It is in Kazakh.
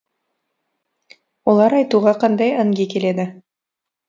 олар айтуға қандай әнге келеді